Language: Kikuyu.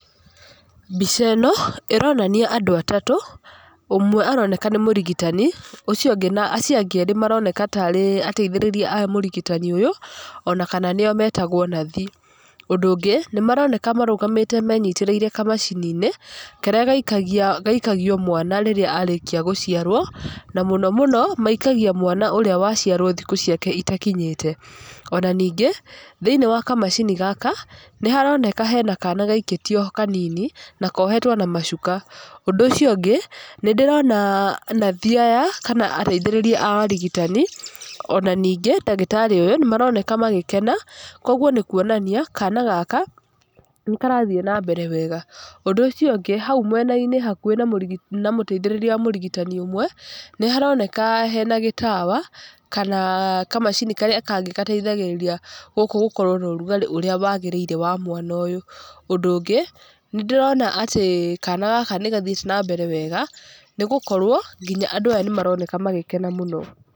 Mbica ĩno ĩronania andũ atatũ, ũmwe aroneka nĩ mũrigitani acio angĩ erĩ maroneka tarĩ ateithĩrĩria a mũrigitani ũyũ ona kana nĩo metagwo nathi. Ũndũ ũngĩ nĩ maroneka marũgamĩte menyitĩrĩiire kamacini-inĩ, karĩa gaikagio mwana rĩrĩa arĩkia gũciarwo, na mũno mũno maikagia mwana ũrĩa waciarwo thikũ ciake itakinyĩte. Ona ningĩ, thĩinĩ wa kamacini gaka nĩ haroneka hena kana gaikĩtio ho kanini na kohetwo na macuka. Ũndũ ũcio ũngĩ, nĩ ndĩrona nathi aya kana ateithĩrĩria a arigitani ona ningĩ ndagĩtarĩ ũyũ nĩ maroneka magĩkena koguo nĩ kuonania kana gaka nĩ karathiĩ na mbere wega. Ũndũ ũcio ũngĩ hau mwena-inĩ hakuhĩ na mũteithĩrĩria wa mũrigitani ũmwe, nĩ haroneka hena gĩtawa kana kamacini karĩa kangĩ gateithagĩrĩria gũkũ gũkorwo na ũrugarĩ ũrĩa wagĩrĩire wa mwana ũyũ. Ũndũ ũngĩ, nĩ ndĩrona atĩ kana gaka nĩgathiĩte na mbere wega nĩ gũkorwo nginya andũ aya nĩmaroneka magĩkena mũno.